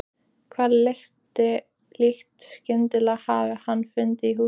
Hvaða lykt skyldi hann hafa fundið í húsinu?